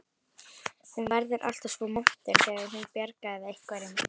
Hún verður alltaf svo montin þegar hún bjargar einhverjum.